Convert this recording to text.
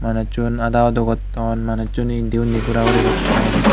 manuchun ada udo gotton manuchune indi undi gura guri gotton.